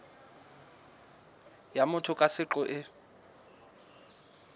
ya motho ka seqo e